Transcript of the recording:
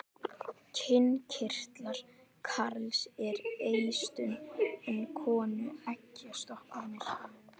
Kynkirtlar karls eru eistun en konu eggjastokkarnir.